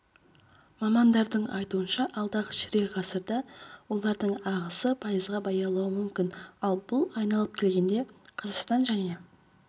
мамандардың айтуынша алдағы ширек ғасырда олардың ағысы пайызға баяулауы мүмкін ал бұл айналып келгенде қазақстан және